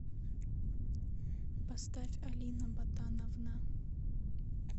поставь алина ботановна